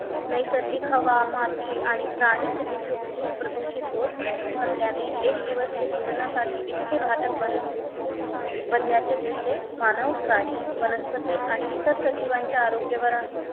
नैसर्गिक हवा माती आणि प्राणी प्रदूषित हो प्रदूषित होत असल्याने एक दिवस एक दिवस ते जीवनासाठी इतके घातक बन बनल्याचे दिसते मानव प्राणी वनस्पती आणि इतर सजीवांच्या आरोग्यावर